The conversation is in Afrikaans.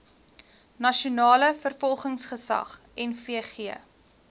nasionale vervolgingsgesag nvg